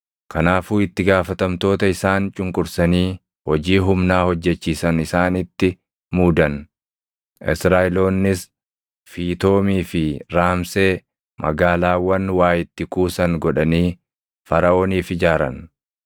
Kanaafuu itti gaafatamtoota isaan cunqursanii hojii humnaa hojjechiisan isaanitti muudan; Israaʼeloonnis Fiitoomii fi Raamsee magaalaawwan waa itti kuusan godhanii Faraʼooniif ijaaran.